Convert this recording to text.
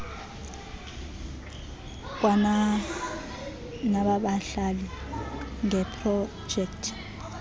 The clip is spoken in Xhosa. kwana nabahlali ngeeprojekthi